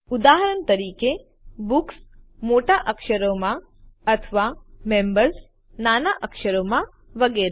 ઉદાહરણ તરીકે બુક્સ મોટા અક્ષરોમાં અથવા મેમ્બર્સ નાના અક્ષરોમાં વગેરે